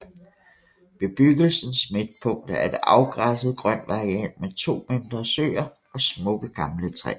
Bebyggelsens midtpunkt er et afgræsset grønt areal med to mindre søer og smukke gamle træer